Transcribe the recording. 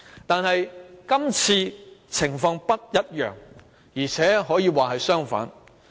但是，今次的情況不一樣，甚至可說是相反。